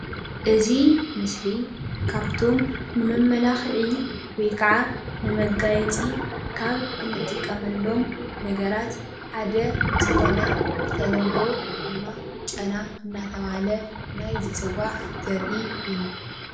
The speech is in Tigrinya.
እዚ ምስሊ ካብቶም ንመመላካክዒ ወይ ከዓ መጋየፂ ካብ እንጥቀመሎም ነገራትሓደ ዝኾነ ብተለምዶ ጨና እንዳተባሃለ ዝፅዋዕ ዘርኢ እዩ።